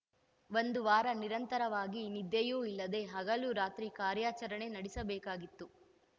ಒಂದು ವಾರ ನಿರಂತರವಾಗಿ ನಿದ್ದೆಯೂ ಇಲ್ಲದೆ ಹಗಲು ರಾತ್ರಿ ಕಾರ್ಯಾಚರಣೆ ನಡೆಸಬೇಕಾಗಿತ್ತು